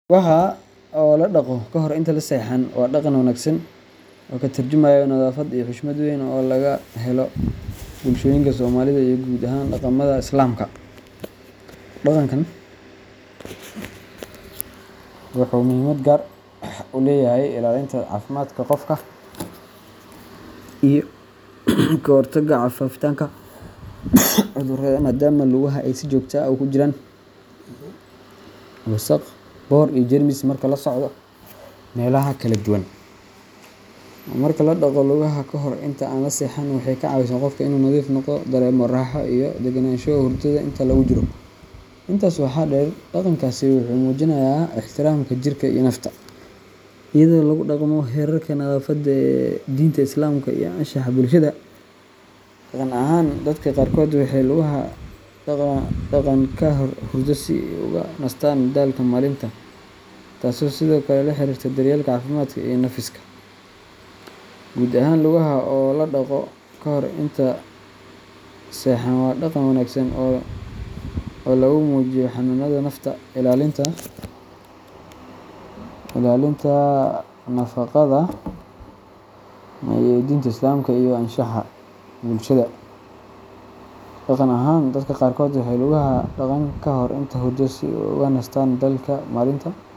Lugaha oo la dhaqo kahor inta sexan waa dhaqan wanaagsan oo ka tarjumaya nadaafad iyo xushmad weyn oo laga helo bulshooyinka Soomaalida iyo guud ahaan dhaqamada Islaamka. Dhaqankan wuxuu muhiimad gaar ah u leeyahay ilaalinta caafimaadka qofka iyo ka hortagga faafitaanka cudurrada, maadaama lugaha ay si joogto ah ugu jiraan wasakh, boodh, iyo jeermis marka la socdo meelaha kala duwan. Marka la dhaqo lugaha ka hor inta aan la seexan, waxay ka caawisaa qofka inuu nadiif noqdo, dareemana raaxo iyo degenaansho hurdada inta lagu jiro. Intaas waxaa dheer, dhaqankaasi wuxuu muujinayaa ixtiraamka jirka iyo nafta, iyadoo lagu dhaqmo xeerarka nadaafadda ee diinta Islaamka iyo anshaxa bulshada. Dhaqan ahaan, dadka qaarkood waxay lugaha dhaqaan ka hor hurdo si ay uga nastaan daalka maalinta.